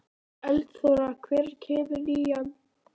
Eldþóra, hvenær kemur nían?